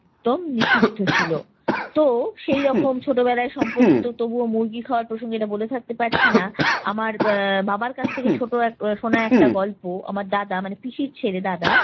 একদম নিষিদ্ধ ছিল। তো সেই রকম ছোটবেলার সম্পর্কিত তবুও মুরগি খাওয়ার প্রসঙ্গে এটা ভুলে থাকতে পারছি না। আমার আহ বাবার কাছ থেকে ছোট এক~ শোনা একটা গল্প, আমার দাদা মানে পিসির ছেলে দাদা